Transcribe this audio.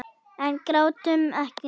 En grátum ekki.